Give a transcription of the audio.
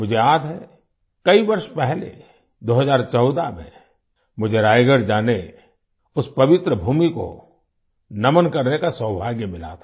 मुझे याद है कई वर्ष पहले 2014 में मुझे रायगढ़ जाने उस पवित्र भूमि को नमन करने का सौभाग्य मिला था